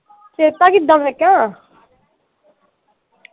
ਸਿਹਤਾਂ ਕਿੱਦਾਂ ਮੈਂ ਕਿਹਾ